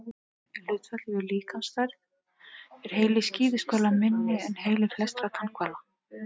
Í hlutfalli við líkamsstærð er heili skíðishvala minni en heili flestra tannhvala.